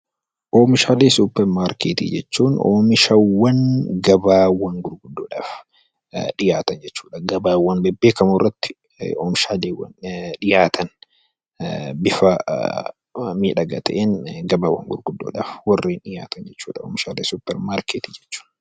Oomishaalee suuparmarkeetii jechuun oomishaawwan gabaawwan gurguddoodhaf dhiyaatan jechuudha. Gabaawwan bebbeekamoorratti oomishaaleewwan dhiyaatan bifa miidhagaa ta'een gabaawwan gurguddoodhaf warreen dhiyaatan jechuudha oomishaalee suuparmarkeetii jechuun.